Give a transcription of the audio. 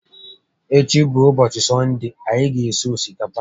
Echi bụ úbọchị sọnde, anyị ga esi osikapa